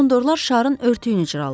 Kondorlar şarın örtüyünü cırırdılar.